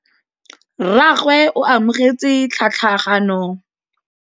Rragwe o amogetse tlhatlhaganyô ya tšhelête ya phenšene.